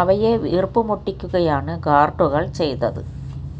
അവയെ വീർപ്പുമുട്ടിക്കുകയാണ് ഗാർഡുകൾ ചെയ്തത്